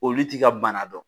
Olu t'i ka bana dɔn